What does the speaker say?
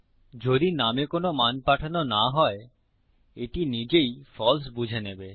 যদি নামে কোনো মান পাঠানো না হয় এটি নিজেই ফালসে বুঝে নেবে